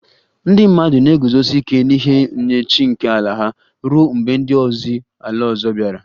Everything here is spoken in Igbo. Ndị mmadụ na-eguzosi ike n'ihe nye chi nke ala ha ruo mgbe ndị ozi ala ọzọ bịara